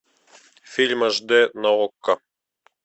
фильм аш д на окко